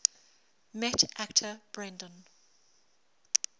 met actor brendan